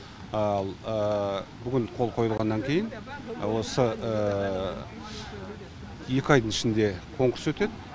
ал бүгін қол қойылғаннан кейін осы екі айдың ішінде конкурс өтеді